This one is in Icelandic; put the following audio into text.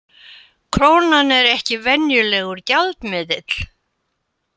Krónan er ekki venjulegur gjaldmiðill